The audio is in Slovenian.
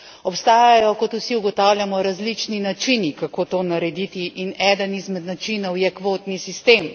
Obstajajo, kot vsi ugotavljamo, različni načini, kako to narediti, in eden izmed načinov je kvotni sistem.